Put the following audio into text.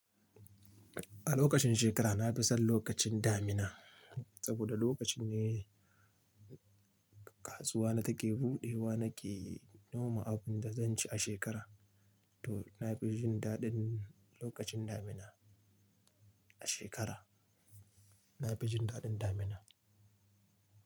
A lokacin shekara na fi son lokacin damuna, saboda lokacin ne kasuwa na take buɗewa nake noma abin da zan ci a shekara. To na fi jin daɗin lokacin damina a shekara, na fi jin daɗin damina.